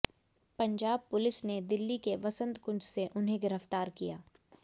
Punjab police ने दिल्ली के वसंत कुंज से उन्हें गिरफ्तार किया